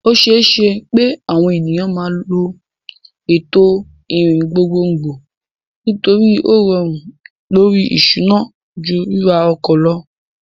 O ṣeé ṣe pé àwọn ènìyàn máa lo ètò ìrìn gbogbogbò nítorí ó rọrùn lórí ìṣúná ju ríra ọkọ̀ lọ.